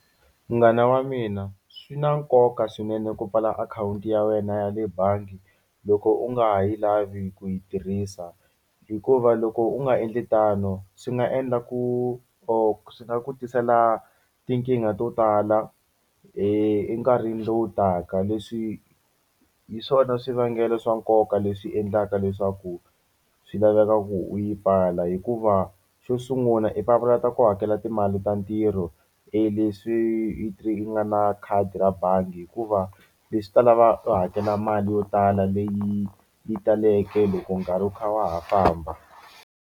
Munghana wa mina swi na nkoka swinene ku pfala akhawunti ya wena ya le bangi loko u nga ha yi lavi ku yi tirhisa hikuva loko u nga endli tano swi nga endla ku or swi nga ku tisela tinkingha to tala enkarhini lowu taka leswi hi swona swivangelo swa nkoka leswi endlaka leswaku swi laveka ku u yi pfala hikuva xo sungula i papalata ku hakela timali ta ntirho e leswi nga na khadi ra bangi hikuva leswi ta lava u hakela mali yo tala leyi yi taleke loko nkarhi wu kha wa ha famba.